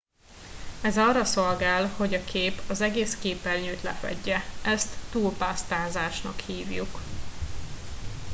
ez arra szolgál hogy a kép az egész képernyőt lefedje ezt túlpásztázásnak hívjuk